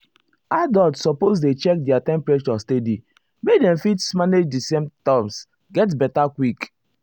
adults suppose dey check their temperature steady make dem fit manage di symptoms get beta quick.